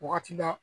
Wagati bɛɛ